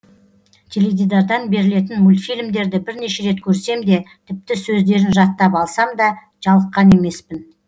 теледидардан берілетін мультфильмдерді бірнеше рет көрсем де тіпті сөздерін жаттап алсам да жалыққан емеспін